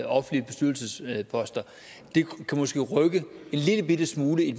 offentlige bestyrelsesposter det kan måske rykke en lillebitte smule i